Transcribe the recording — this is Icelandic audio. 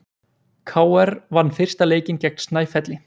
KR vann fyrsta leikinn gegn Snæfelli